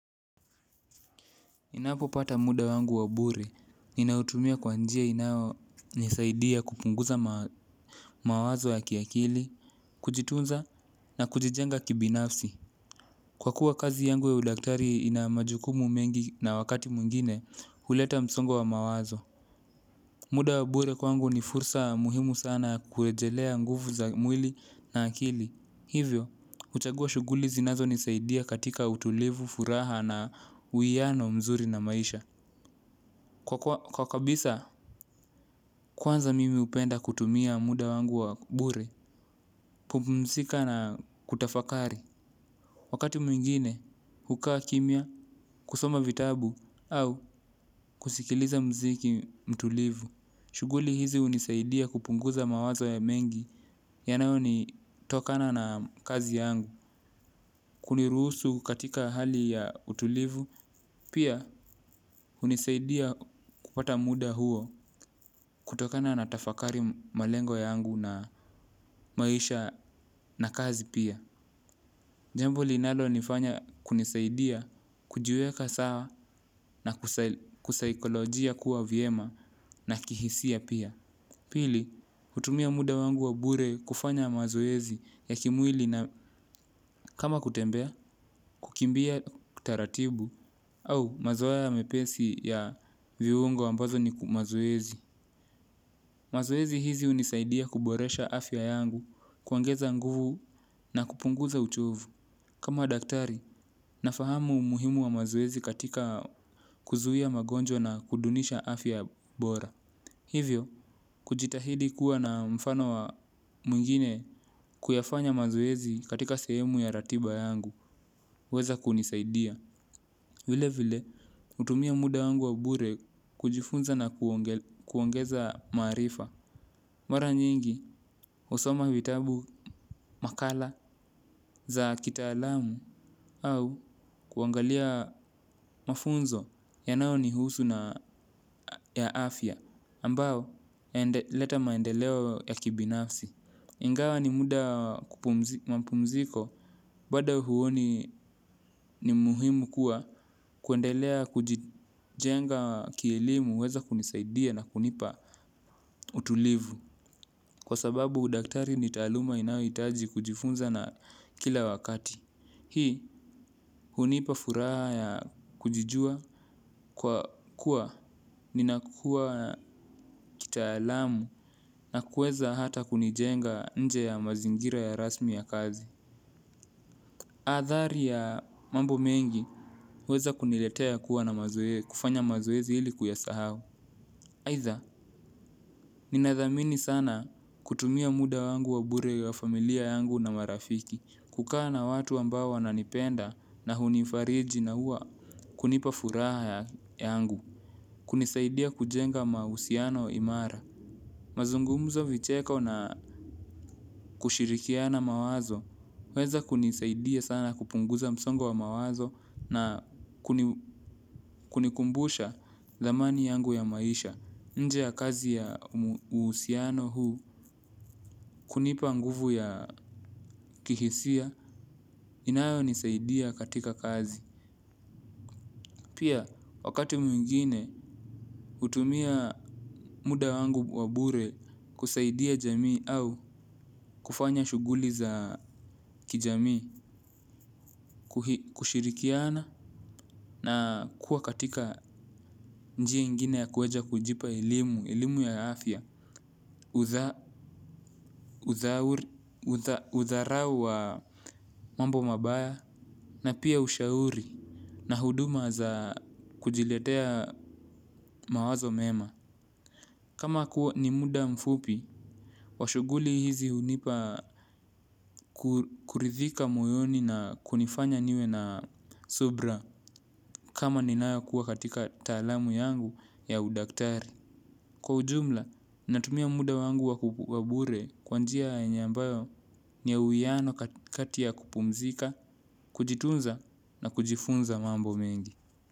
Ninapopata muda wangu wa bure, ninautumia kwa njia inayonisaidia kupunguza mawazo ya kiakili, kujitunza na kujijenga kibinafsi. Kwa kuwa kazi yangu ya udaktari ina majukumu mengi na wakati mwingine, huleta msongo wa mawazo. Muda wa bure kwangu ni fursa muhimu sana kurejelea nguvu za mwili na akili. Hivyo, huchagua shughuli zinazonisaidia katika utulivu, furaha na uwiano mzuri na maisha. Kwa kabisa, kwanza mimi hupenda kutumia muda wangu wa bure, kupumzika na kutafakari. Wakati mwingine, hukaa kimya, kusoma vitabu, au kusikiliza mziki mtulivu. Shughuli hizi hunisaidia kupunguza mawazo ya mengi, yanao ni tokana na kazi yangu. Kuniruhusu katika hali ya utulivu, pia hunisaidia kupata muda huo kutokana na tafakari malengo yangu na maisha na kazi pia. Jambo linalonifanya kunisaidia, kujiweka sawa na kusaikolojia kuwa vyema na kihisia pia. Pili, hutumia muda wangu wa bure kufanya mazoezi ya kimwili na kama kutembea, kukimbia kutaratibu, au mazoea mepesi ya viungo ambazo ni mazoezi. Mazoezi hizi hunisaidia kuboresha afya yangu, kuongeza nguvu na kupunguza uchovu. Kama daktari, nafahamu umuhimu wa mazoezi katika kuzuia magonjwa na kudunisha afya bora. Hivyo, kujitahidi kuwa na mfano wa mwingine kuyafanya mazoezi katika sehemu ya ratiba yangu, huweza kunisaidia. Vile vile, hutumia muda wangu wangu wa bure kujifunza na kuongeza marifa. Mara nyingi, husoma vitabu makala za kitaalamu au kuangalia mafunzo yanao nihusu na ya afya, ambao leta maendeleo ya kibinafsi. Ingawa ni muda mapumziko bado huoni ni muhimu kuwa kuendelea kujijenga kielimu huweza kunisaidia na kunipa utulivu kwa sababu udaktari ni taluma inayohitaji kujifunza na kila wakati. Hii hunipa furaha ya kujijua kwa kuwa ninakuwa kitaalamu na kuweza hata kunijenga nje ya mazingira ya rasmi ya kazi. Adhari ya mambo mengi, huweza kuniletea kuwa na mazoea, kufanya mazoezi ili kuyasahau. Aidha, ninathamini sana kutumia muda wangu wa bure ya familia yangu na marafiki, kukaa na watu ambao wananipenda na hunifariji na huwa kunipa furaha yangu, kunisaidia kujenga mahusiano imara. Mazungumzo vicheko na kushirikiana mawazo, huweza kunisaidia sana kupunguza msongo wa mawazo na kunikumbusha thamani yangu ya maisha. Nje ya kazi ya uhusiano huu, kunipa nguvu ya kihisia, inayo nisaidia katika kazi. Pia wakati mwingine hutumia muda wangu wa bure kusaidia jamii au kufanya shughuli za kijamii. Kuhi kushirikiana na kuwa katika njia ingine ya kuweza kujipa elimu elimu ya afya udharau wa mambo mabaya na pia ushauri na huduma za kujiletea mawazo mema. Kama kuwa ni muda mfupi. Washughuli hizi hunipa kuridhika moyoni na kunifanya niwe na subira kama ninakuwa katika taalamu yangu ya udaktari. Kwa ujumla, natumia muda wangu wa bure kwa njia yenye ambayo ni ya uwiano kati ya kupumzika, kujitunza na kujifunza mambo mengi.